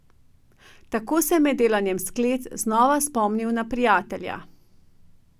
Tako se je med delanjem sklec znova spomnil na prijatelja.